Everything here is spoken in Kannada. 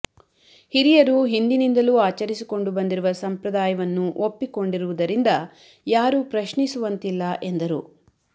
ಹಿರಿಯರು ಹಿಂದಿನಿಂದಲೂ ಆಚರಿಸಿಕೊಂಡು ಬಂದಿರುವ ಸಂಪ್ರದಾಯವನ್ನು ಒಪ್ಪಿಕೊಂಡಿರುವುದರಿಂದ ಯಾರು ಪ್ರಶ್ನಿಸುವಂತಿಲ್ಲ ಎಂದರು